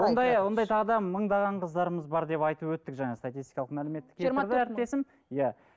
ондай ондай тағы да мыңдаған қыздарымыз бар деп айтып өттік жаңа статистикалық мәлімет әріптесім иә